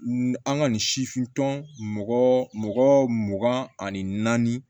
An ka nin sifin tɔn mɔgɔ mugan ani naani